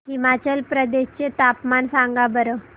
हिमाचल प्रदेश चे तापमान सांगा बरं